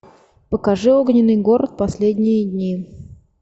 покажи огненный город последние дни